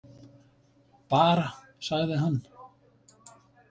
Bara, sagði hann.